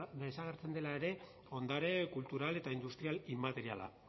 desagertzen dela ere ondare kultural eta industrial inmateriala